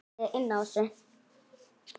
Guðný: Hyggst þú gera það?